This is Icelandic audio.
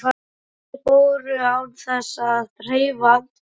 Bæði fóru án þess að hreyfa andmælum.